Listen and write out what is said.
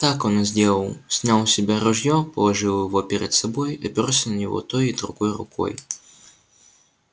так он и сделал снял с себя ружье положил его перед собой оперся на него той и другой рукой